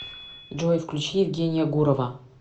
джой включи евгения гурова